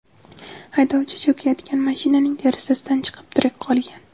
Haydovchi cho‘kayotgan mashinaning derazasidan chiqib, tirik qolgan.